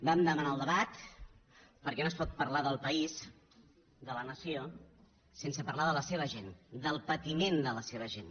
vam demanar el debat perquè no es pot parlar del país de la nació sense parlar de la seva gent del patiment de la seva gent